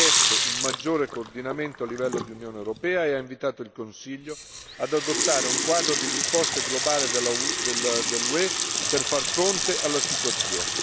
Ha chiesto un maggiore coordinamento a livello di Unione europea e ha invitato il Consiglio ad adottare un quadro di risposta globale dell'UE per far fronte alla situazione.